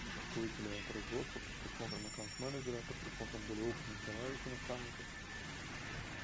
руководителя производства под присмотром аккаунт менеджера под присмотром более опытных товарищей наставников